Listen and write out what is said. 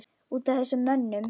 Út af þessum mönnum?